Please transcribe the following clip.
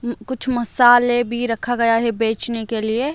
उम कुछ मसाले भी रखा गया है बचने के लिए।